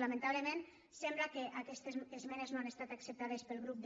lamentablement sembla que aquestes esmenes no han estat acceptades pel grup